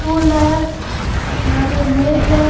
Stool है यहाँ पे एक मेज है।